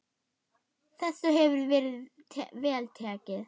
Þessu hefur verið vel tekið.